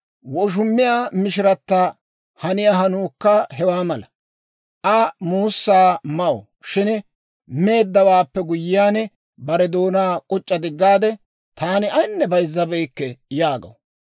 Woshumiyaa mishirata haniyaa hanuukka hewaa mala. Aa muussaa maw; shin meeddawaappe guyyiyaan, bare doonaa k'uc'c'a diggaade, «Taani ayinne bayzzabeykke» yaagaw.